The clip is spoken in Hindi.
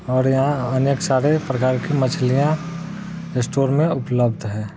और यहा अनेक सारे प्रकार की मछलिया स्टोर मे उपलब्ध है।